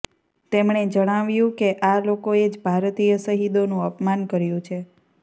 તેમણે જણાવ્યું કે આ લોકોએ જ ભારતીય શહીદોનું અપમાન કર્યું છે